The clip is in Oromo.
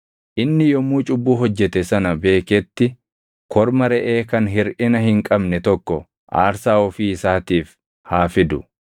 Inni yommuu cubbuu hojjete sana beeketti korma reʼee kan hirʼina hin qabne tokko aarsaa ofii isaatiif haa fidu.